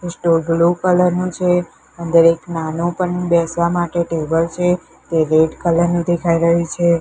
આ store blue colour નુ છે અંદર એક નાનુ પણ બેસવા માટે ટેબલ છે જે રેડ કલર નુ દેખાય રહ્યુ છે.